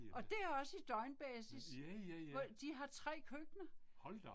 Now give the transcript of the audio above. Og det også i døgnbasis. De har 3 køkkener